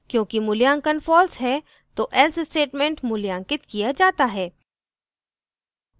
क्योंकि मूल्यांकन false है तो else statement मूल्यांकित किया जाता है